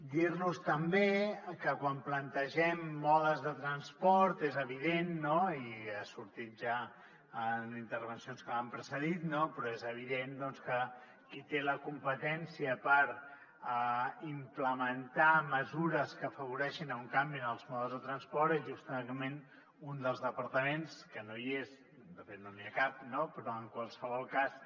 dir los també que quan plantegem modes de transport és evident i ha sortit ja en intervencions que m’han precedit que qui té la competència per implementar mesures que afavoreixin un canvi en els modes de transport és justament un dels departaments que no hi és de fet no n’hi ha cap no però en qualsevol cas